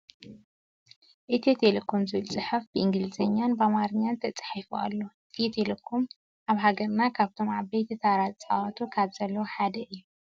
ኢትዮ ቴሌኮም ዝብል ፅሑፍ ብኢንግልዘኛን ብኣማርኛን ተፃሒፉ ኣሎ። ኢትዮ ቴሌኮም ኣብ ሃገርና ካብቶም ዓብይ ታራ ዝፃወቱ ካብ ዘለው ሓደ እዩ።